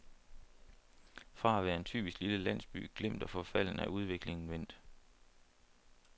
Fra at være en typisk lille landsby, glemt og forfalden, er udviklingen vendt.